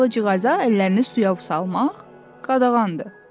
Albalıcığaza əllərini suya vusalmaq qadağandır.